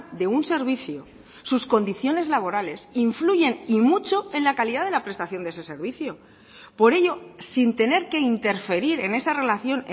de un servicio sus condiciones laborales influyen y mucho en la calidad de la prestación de ese servicio por ello sin tener que interferir en esa relación